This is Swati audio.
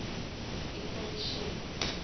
ikhomishini